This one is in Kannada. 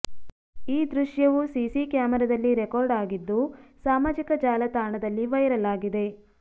ಈ ದೃಶ್ಯವು ಸಿಸಿ ಕ್ಯಾಮರಾದಲ್ಲಿ ರೆಕಾರ್ಡ್ ಆಗಿದ್ದು ಸಾಮಾಜಿಕ ಜಾಲತಾಣದಲ್ಲಿ ವೈರಲ್ ಆಗಿದೆ